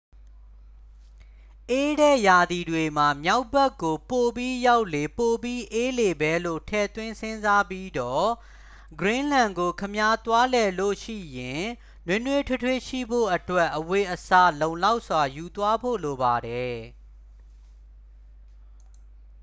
အေးတဲ့ရာသီတွေမှာ မြောက်ဘက်ကို ပိုပြီးရောက်လေ ပိုပြီးအေးလေပဲလို့ ထည့်သွင်း စဉ်းစားပြီးတော့ ဂရင်းလန်းကို ခင်ဗျား သွားလည်လို့ရှိရင် နွေးနွေးထွေးထွေးရှိဖို့အတွက် အဝတ်အစား လုံလောက်စွာ ယူသွားဖို့လိုပါတယ်။